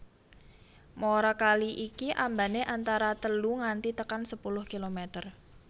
Muara kali iki ambane antara telu nganti tekan sepuluh kilometer